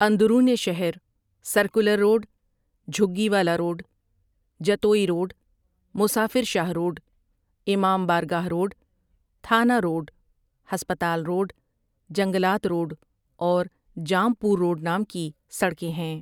اندرون شہر circular road, Jhuggi Wala road, Jatoi road, Musafir Shah road, امام بارگاہ روڈ، تھانہ روڈ، ہسپتال روڈ، جنگلات روڈ اور جام پور روڈ نام کی سڑکیں ہیں ۔